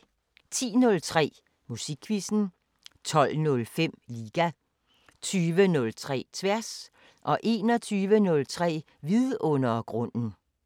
10:03: Musikquizzen 12:05: Liga 20:03: Tværs 21:03: Vidundergrunden